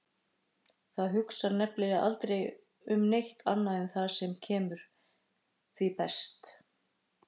Það hugsar nefnilega aldrei um neitt annað en það sem kemur því best.